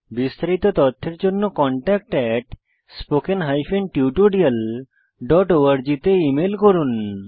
বিস্তারিত তথ্যের জন্য contactspoken tutorialorg তে ইমেল করুন